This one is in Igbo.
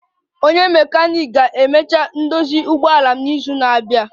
Onye mekaniiki ga-emecha ndozi ụgbọala m n'izu na-abia